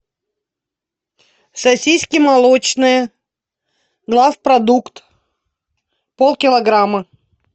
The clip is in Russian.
сосиски молочные главпродукт полкилограмма